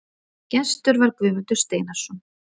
Gestur var Guðmundur Steinarsson.